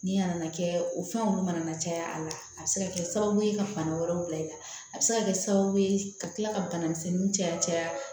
Ni a nana kɛ o fɛn kɔni mana caya a la a bɛ se ka kɛ sababu ye ka bana wɛrɛw bila i la a bɛ se ka kɛ sababu ye ka kila ka bana misɛnnin caya